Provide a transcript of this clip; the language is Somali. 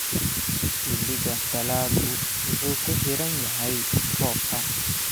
Xilliga dalaggu wuxuu ku xiran yahay roobka.